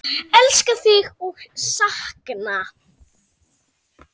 Elska þig og sakna.